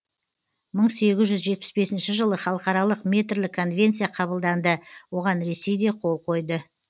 мың сегіз жүз жетпіс бесінші жылы халықаралық метрлік конвенция қабылданды оған ресей де қол қойды